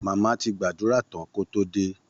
Mama ti gbàdúrà tán kó tó dé